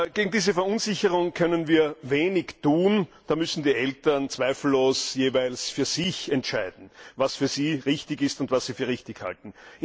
Gegen diese Verunsicherung können wir wenig tun, da müssen die Eltern zweifellos jeweils für sich entscheiden, was für sie richtig ist und was sie für richtig halten.